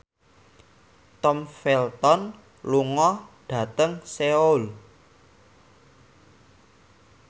Tom Felton lunga dhateng Seoul